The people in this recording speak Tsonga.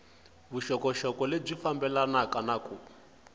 vuxokoxoko lebyi fambelanaka na ku